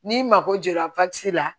N'i mago jɔra la